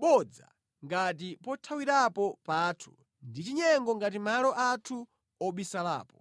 bodza ngati pothawirapo pathu ndi chinyengo ngati malo anthu obisalapo.”